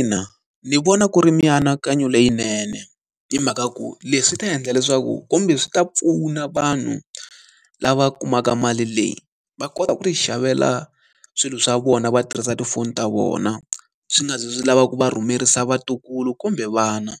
Ina ni vona ku ri mianakanyo leyinene hi mhaka ku leswi ta endla leswaku kumbe swi ta pfuna vanhu lava kumaka mali leyi, va kota ku ti xavela swilo swa vona va tirhisa tifoni ta vona. Swi nga zi swi lava ku va rhumerisa vatukulu kumbe vana.